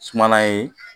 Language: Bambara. Sumala ye